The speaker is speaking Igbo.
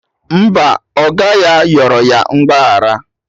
Mba, oga ya yọrọ ya mgbaghara